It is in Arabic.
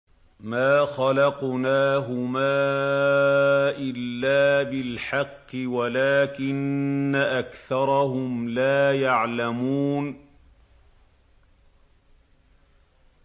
مَا خَلَقْنَاهُمَا إِلَّا بِالْحَقِّ وَلَٰكِنَّ أَكْثَرَهُمْ لَا يَعْلَمُونَ